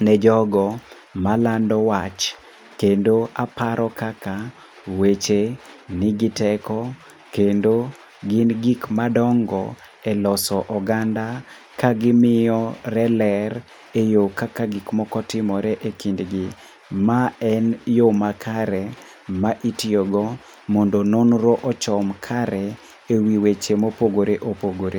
ne jogo malando wach. Kendo aparo kaka weche nigi teko kendo gin gik madongo e loso oganda. Ka gimiyore ler, e yo kaka gik moko timore e kindgi. Ma en yo makare, ma itiyogo mondo nonro ochom kare, e wi weche mopogore opogore.